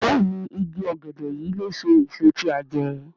Béèni ìgi ògèdè yí ló so èso tí a jé.